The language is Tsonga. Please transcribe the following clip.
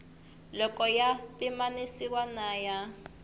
loko ya pimanisiwa na ya